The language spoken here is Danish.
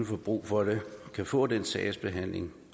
få brug for det kan få den sagsbehandling